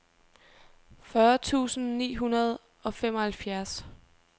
fyrre tusind ni hundrede og femoghalvfjerds